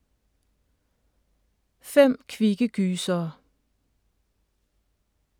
Fem kvikke gysere